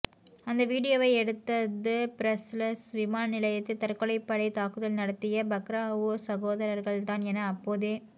அந்த வீடியோவை எடுத்தது பிரஸ்ஸல்ஸ் விமான நிலையத்தில் தற்கொலைப்படை தாக்குதல் நடத்திய பக்ராவுய் சகோதரர்கள் தான் என அப்போதே